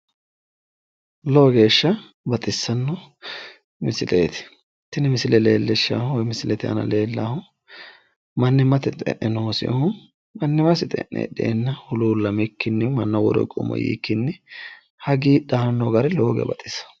lowo geeshsha baxissanno misileeti, tini misile leellishshahu woy misilete aana leellahu mannimmate xe'ne noosihu mannimmate xe'ne heedheenna huluullamikkinni mannaho woroo higoommo yiikkinni hagiidhanno gari lowo geeya baxisawo